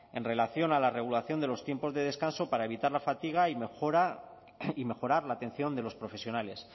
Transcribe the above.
esk en relación a la regulación de los tiempos de descanso para evitar la fatiga y mejorar la atención de los profesionales